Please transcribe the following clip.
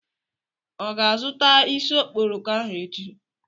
Ọ ga-azụta isi okporoko ahụ echi?